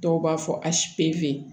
Dɔw b'a fɔ a si peze